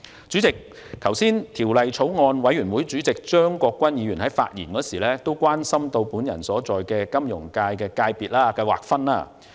主席，張國鈞議員也是法案委員會委員，他剛才發言時表示關心我所屬的金融界別的劃分。